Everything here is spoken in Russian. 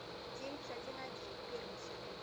девять один один первый сезон